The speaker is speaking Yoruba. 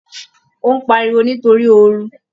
Ó ń pariwo nítorí ooru